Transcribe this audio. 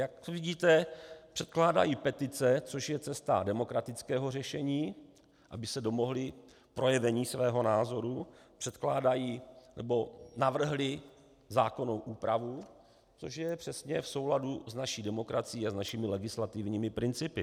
Jak vidíte, předkládají petice, což je cesta demokratického řešení, aby se domohli projevení svého názoru, předkládají nebo navrhli zákonnou úpravu, což je přesně v souladu s naší demokracií a s našimi legislativními principy.